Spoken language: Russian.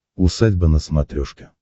усадьба на смотрешке